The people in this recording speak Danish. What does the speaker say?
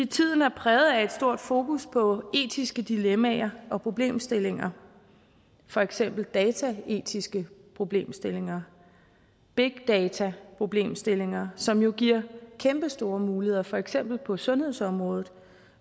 tiden er præget af et stort fokus på etiske dilemmaer og problemstillinger for eksempel dataetiske problemstillinger big data problemstillinger som jo giver kæmpestore muligheder for eksempel på sundhedsområdet